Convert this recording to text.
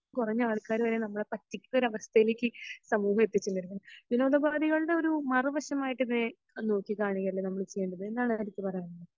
കൊറഞ്ഞ ആൾകാർ വരെ നമ്മളെ പറ്റിക്കുന്ന ഒരു അവസ്ഥയിലേക് സമൂഹം എത്തിച്ചു വരുന്നു വിനോദോപാദികളുടെ ഒരു മറു വശമായിട്ട് ഇതിനെ നമ്മൾ നോക്കികാണുകയല്ലേ നമ്മൾ ചെയ്യേണ്ടത് എന്താണ് ഹരിക്ക് പറയാൻ ഉള്ളത്